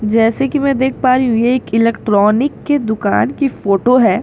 जैसे कि मैं देख पा रही हूं यह एक इलेक्ट्रॉनिक की दुकान की फोटो है यहां --